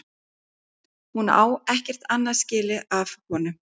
Hún á ekkert annað skilið af honum.